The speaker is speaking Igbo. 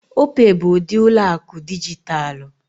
Opay bụ ụdị ụlọ akụ dijitalụ.